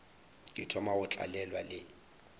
ke thoma go tlalelwa le